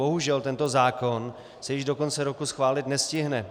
Bohužel tento zákon se již do konce roku schválit nestihne.